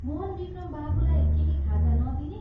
मोहनविक्रम बाबुलाई केही खाजा नदिने?